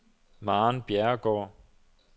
Maren Bjerregaard